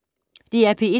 DR P1